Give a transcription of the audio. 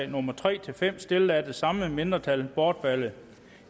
nummer tre fem stillet af det samme mindretal bortfaldet